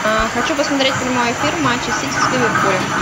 хочу посмотреть прямой эфир матча сити с ливерпулем